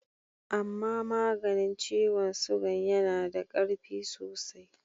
Ama maganin ciwon sugan ya na da karfi sosai.